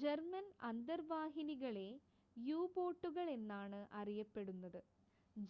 German അന്തർവാഹിനികളെ യു-ബോട്ടുകൾ എന്നാണ് അറിയപ്പെടുന്നത്